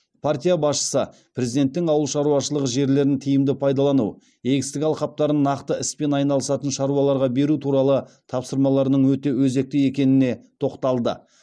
партия басшысы президенттің ауыл шаруашылығы жерлерін тиімді пайдалану егістік алқаптарын нақты іспен айналысатын шаруаларға беру туралы тапсырмаларының өте өзекті екеніне тоқталды